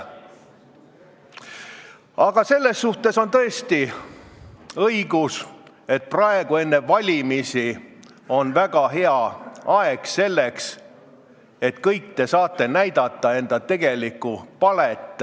Aga see on õige, et praegu, enne valimisi on väga hea aeg selleks, et kõik te saaksite näidata enda tegelikku palet.